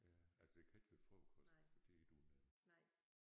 Ja altså det kan ikke være frokost for det ikke unden